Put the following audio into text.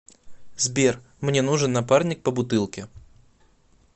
сбер мне нужен напарник по бутылке